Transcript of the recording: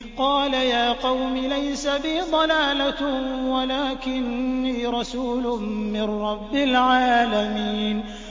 قَالَ يَا قَوْمِ لَيْسَ بِي ضَلَالَةٌ وَلَٰكِنِّي رَسُولٌ مِّن رَّبِّ الْعَالَمِينَ